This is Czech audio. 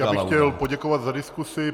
Já bych chtěl poděkovat za diskusi.